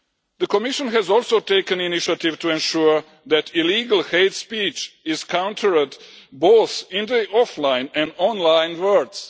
The Commission has also taken initiatives to ensure that illegal hate speech is countered both in the offline and online worlds.